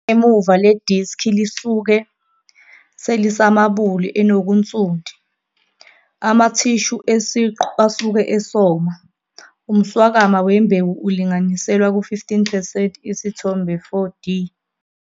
Ingemuva le diski lisuke selisamabuli enokunsundu, amathishu esiqu asuke esoma. Umswakama wembewu ulinganiselwa ku-15 percent, Isithombe 4d.